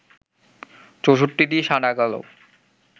৬৪টি সাদা-কালো